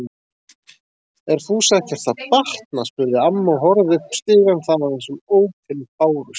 Er Fúsa ekkert að batna? spurði amma og horfði upp stigann þaðan sem ópin bárust.